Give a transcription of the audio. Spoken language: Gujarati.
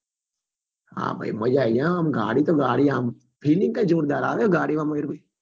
હા ભાઈ માજા આયી જાય આં ગાડી તો ગાડી આમ feeling એ જોરદાર આવે ગાડી માં મગર ભાઈ